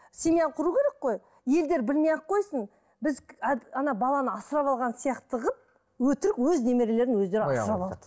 семья құру керек қой елдер білмей ақ қойсын біз баланы асырап алған сияқты қылып өтірік өз немерелерін өздері асырап алды